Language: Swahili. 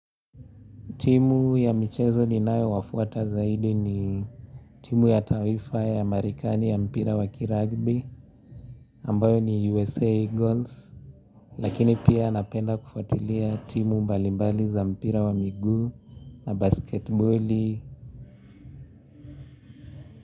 Timu ya michezo ni nayo wafuata zaidi ni timu ya taifa ya marekani ya mpira wa kirugby ambayo ni USA Eagles Lakini pia napenda kufuatilia timu mbali mbali za mpira wa miguu na basketiboli.